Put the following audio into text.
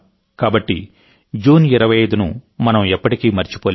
కాబట్టి జూన్ 25 ను మనం ఎప్పటికీ మరచిపోలేం